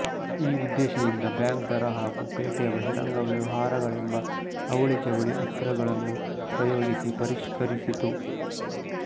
ಈ ಉದ್ದೇಶದಿಂದ ಬ್ಯಾಂಕ್ ದರ ಹಾಗೂ ಪೇಟೆಯ ಬಹಿರಂಗ ವ್ಯವಹಾರಗಳೆಂಬ ಅವಳಿಜವಳಿ ಅಸ್ತ್ರಗಳನ್ನು ಪ್ರಯೋಗಿಸಿ ಪರಿಷ್ಕರಿಸಿತು